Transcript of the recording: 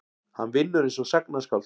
Hann vinnur einsog sagnaskáld.